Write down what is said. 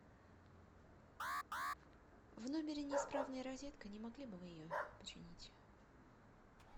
в номере неисправная розетка не могли бы вы ее починить